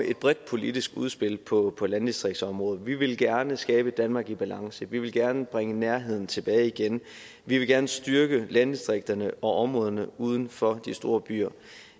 et bredt politisk udspil på landdistriktsområdet vi vil gerne skabe et danmark i balance vi vil gerne bringe nærheden tilbage igen vi vil gerne styrke landdistrikterne og områderne uden for de store byer